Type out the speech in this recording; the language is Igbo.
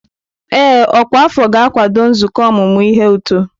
Ee, ọkwa afọ ga-akwado nzukọ ọmụmụ ihe uto.